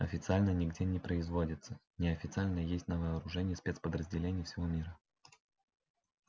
официально нигде не производится неофициально есть на вооружении спецподразделений всего мира